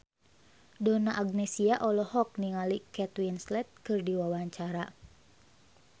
Donna Agnesia olohok ningali Kate Winslet keur diwawancara